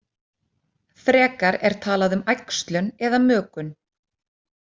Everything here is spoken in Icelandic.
Frekar er talað um æxlun eða mökun.